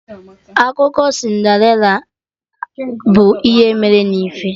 Akụkọ Cinderella abụ ihe mere na ife?